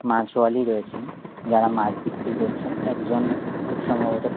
মাছওয়ালি রয়েছেন যারা মাছ বিক্রি করছেন একজন খুব সম্ভবত--